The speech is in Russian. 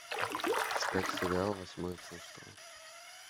искать сериал восьмое чувство